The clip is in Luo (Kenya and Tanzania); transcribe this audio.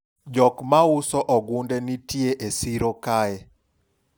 jok mauso ogunde nitie e siro kae